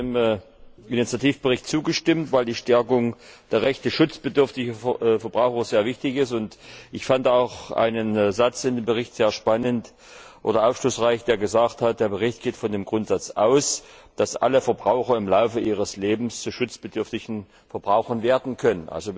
Auch ich habe dem Initiativbericht zugestimmt, weil die Stärkung der Rechte schutzbedürftiger Verbraucher sehr wichtig ist. Ich fand auch einen Satz in dem Bericht sehr aufschlussreich, nämlich Dieser Bericht geht von dem Grundsatz aus, dass alle Verbraucher im Laufe ihres Lebens zu schutzbedürftigen Verbrauchern werden können.